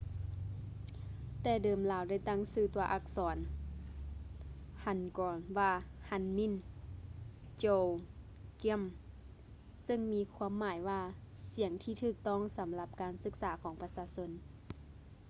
ແຕ່ເດີມລາວໄດ້ຕັ້ງຊື່ຕົວອັກສອນ hangeul ວ່າ hunmin jeongeum ເຊິ່ງມີຄວາມໝາຍວ່າ ສຽງທີ່ຖືກຕ້ອງສຳລັບການສຶກສາຂອງປະຊາຊົນ